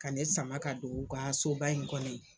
Ka ne sama ka don u ka soba in kɔnɔ ye.